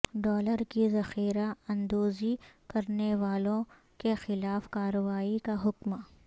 dollar کی ذخیرہ اندوزی کرنیوالوں کیخلاف کارروائی کا حکم